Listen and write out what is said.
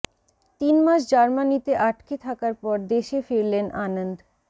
তিন মাস জার্মানিতে আটকে থাকার পর দেশে ফিরলেন আনন্দ